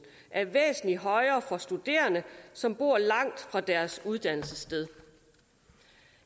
er væsentlig højere for studerende som bor langt fra deres uddannelsessted